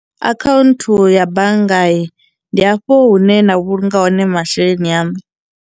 Akhaunthu ya bannga ndi hafho hune na vhulunga hone masheleni aṋu.